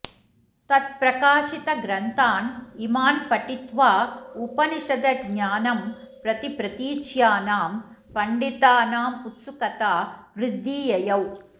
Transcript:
तत्प्रकाशितग्रन्थान् इमान् पठित्वा उपनिषदज्ञानं प्रति प्रतीच्यानां पण्डितानामुत्सुकता वृद्धि ययौ